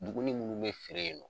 Duguni munnu be feere yen nɔ